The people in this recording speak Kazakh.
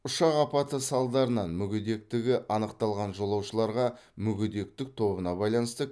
ұшақ апаты салдарынан мүгедектігі анықталған жолаушыларға мүгедектік тобына байланысты